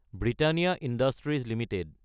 Britannia Industries Ltd